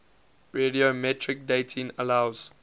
radiometric dating allows